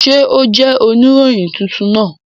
Ṣe o jẹ onirohin tuntun naa?